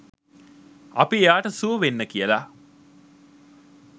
අපි එයාට සුව වෙන්න කියලා